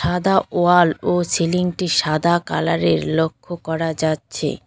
সাদা ওয়াল ও সিলিং -টি সাদা কালার -এর লক্ষ্য করা যাচ্ছে।